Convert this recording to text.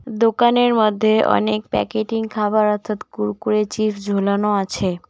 দোকানের মধ্যে অনেক প্যাকেটিং খাবার অর্থাৎ কুরকুরে চিপস ঝোলানো আছে।